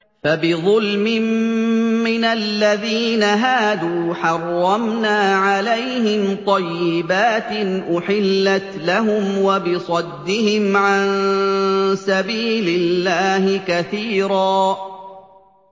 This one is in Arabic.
فَبِظُلْمٍ مِّنَ الَّذِينَ هَادُوا حَرَّمْنَا عَلَيْهِمْ طَيِّبَاتٍ أُحِلَّتْ لَهُمْ وَبِصَدِّهِمْ عَن سَبِيلِ اللَّهِ كَثِيرًا